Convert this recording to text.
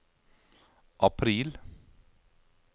april